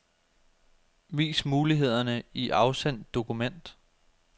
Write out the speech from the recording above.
Vis mulighederne i afsend dokument.